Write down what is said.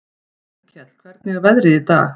Auðkell, hvernig er veðrið í dag?